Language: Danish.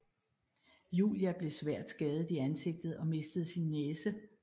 Julia blev svært skadet i ansigtet og mistede sin næse